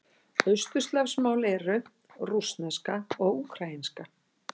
Austurslavnesk mál eru: rússneska og úkraínska.